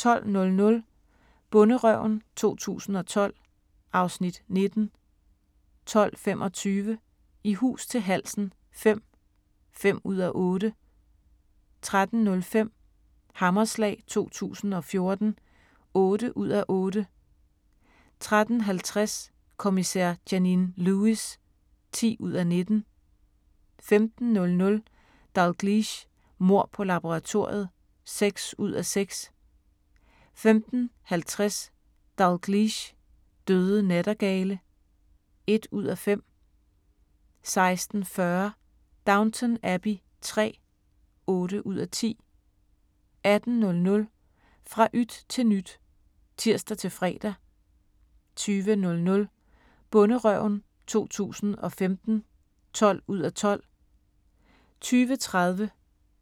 12:00: Bonderøven 2012 (Afs. 19) 12:25: I hus til halsen V (5:8) 13:05: Hammerslag 2014 (8:8) 13:50: Kommissær Janine Lewis (10:19) 15:00: Dalgliesh: Mord på laboratoriet (6:6) 15:50: Dalgliesh: Døde nattergale (1:5) 16:40: Downton Abbey III (8:10) 18:00: Fra yt til nyt (tir-fre) 20:00: Bonderøven 2015 (12:12) 20:30: